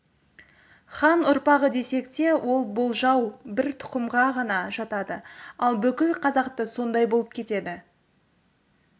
хан ұрпағы десек те ол болжау бір тұқымға ғана жатады ал бүкіл қазақты сондай болып кетеді